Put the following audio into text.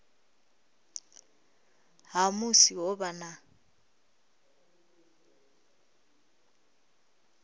ha musi ho vha na